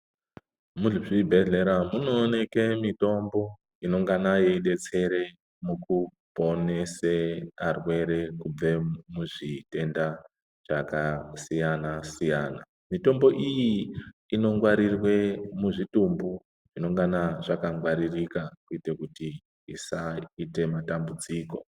Muzvibhehlera munooneke mitombo inonangana yeidetsere mukuponese arwere kubve muzvitenda zvakasiyanasiyana mitombo iyi inongwarirwe muzvitumbu zvinongana zvakangwaririka kuite kuti isaite matambudziko.